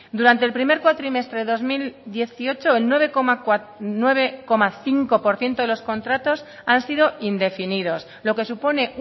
durante el primer cuatrimestre del dos mil dieciocho el nueve coma cinco por ciento de los contratos han sido indefinidos lo que supone